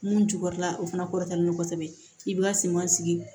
Mun cukɔrɔla o fana kɔrɔtɛlen don kosɛbɛ i b'i ka senw sigi